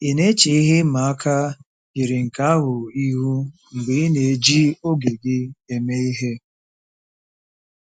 Ị na-eche ihe ịma aka yiri nke ahụ ihu mgbe ị na-eji oge gị eme ihe.